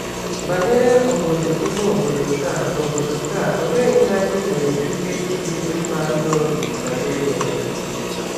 Banyere obodo ime obodo taa, obodo taa, olee ihe anyị nwere ike ịdị mma n’obi banyere ya?